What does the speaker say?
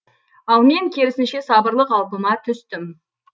ал мен керісінше сабырлы қалпыма түстім